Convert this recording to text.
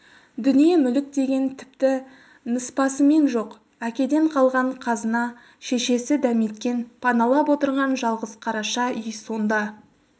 дүние-мүлік деген тіпті ныспысымен жоқ әкеден қалған қазына шешесі дәметкен паналап отырған жалғыз қараша үй сонда